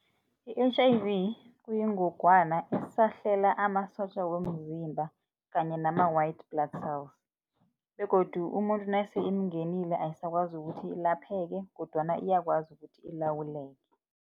I-H_I_V kuyingogwana esahlela amasotja womzimba kanye nama-white blood cells begodu umuntu nase imungenile, ayisakwazi ukuthi ilapheke kodwana iyakwazi ukuthi ilawuleke.